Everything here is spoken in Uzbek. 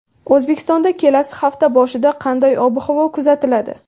O‘zbekistonda kelasi hafta boshida qanday ob-havo kuzatiladi?.